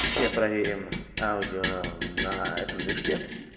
сейчас проверим аудио на этом движке